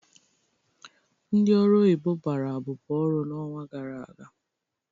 Ndị ọrụ oyibo gbara abụbọ ọrụ n'ọnwa gara aga.